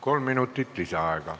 Kolm minutit lisaaega.